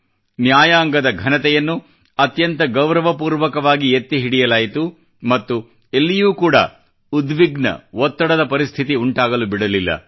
ನ್ಯಾಯಾಂಗದ ಘನತೆಯನ್ನು ಅತ್ಯಂತ ಗೌರವಪೂರ್ವಕವಾಗಿ ಎತ್ತಿ ಹಿಡಿಯಲಾಯಿತು ಮತ್ತು ಎಲ್ಲಿಯೂ ಕೂಡಾ ಉದ್ವಿಗ್ನ ಒತ್ತಡದ ಪರಿಸ್ಥಿತಿ ಉಂಟಾಗಲು ಬಿಡಲಿಲ್ಲ